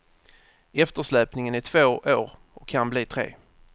Eftersläpningen är två år och kan bli tre.